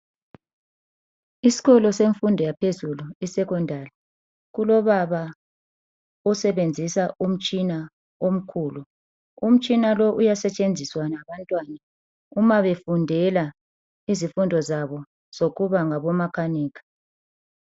Isikolo semfundo ephezulu (secondary) kulobaba osebenzisa umtshina omkhulu umtshina lo uyasetshenziswa ngabantwana uma befundela izifundo zabo zokuba ngabomankanika.